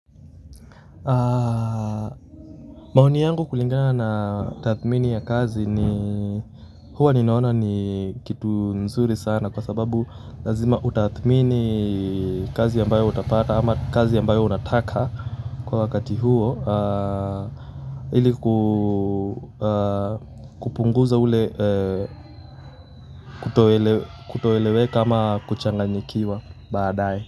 Maoni yangu kulingana na tathmini ya kazi ni huwa ninaona ni kitu nzuri sana kwa sababu lazima utathmini kazi ambayo utapata ama kazi ambayo unataka kwa wakati huo ili kupunguza ule kutoeleweka ama kuchanganyikiwa baadaye.